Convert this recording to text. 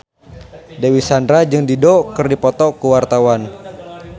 Dewi Sandra jeung Dido keur dipoto ku wartawan